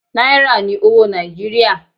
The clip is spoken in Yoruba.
Náírà ní owó Nàìjíríà.